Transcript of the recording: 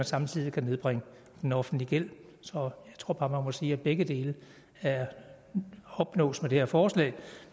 samtidig kan nedbringe den offentlige gæld så jeg tror bare man må sige at begge dele opnås med det her forslag